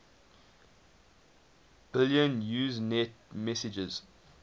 billion usenet messages